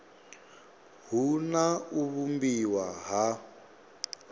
hu na u vhumbiwa ha